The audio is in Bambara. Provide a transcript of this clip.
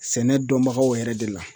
Sɛnɛ dɔnbagaw yɛrɛ de la